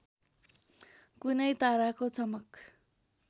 कुनै ताराको चमक